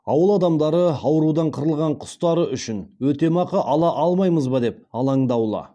ауыл адамдары аурудан қырылған құстары үшін өтемақы ала алмаймыз ба деп алаңдаулы